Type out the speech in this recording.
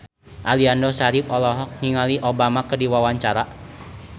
Aliando Syarif olohok ningali Obama keur diwawancara